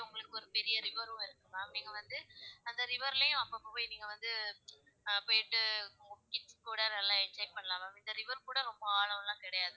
உங்களுக்கு ஒரு பெரிய river ரும் இருக்கும் ma'am நீங்க வந்து அந்த river லயும் அப்பப்ப போய் நீங்க வந்து ஆஹ் போயிட்டு உங்க kids கூட நல்லா enjoy பண்ணலாம் ma'am இந்த river கூட ஆழம் கிடையாது.